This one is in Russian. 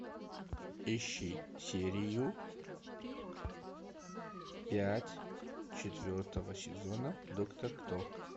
ищи серию пять четвертого сезона доктор кто